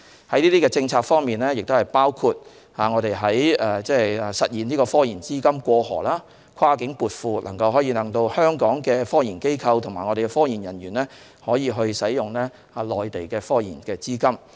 這些政策包括實現科研資金"過河"，跨境撥款，使香港的科研機構和科研人員可以使用內地的資金。